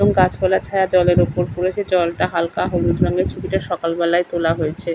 এবং গাছপালার ছায়া জলে ওপর পড়েছে জলটা হালকা হলুদ রঙের ছবিটা সকালবেলাই তোলা হয়েছে।